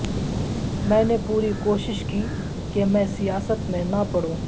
میں نے پوری کوشش کی کہ میں سیاست میں نہ پڑوں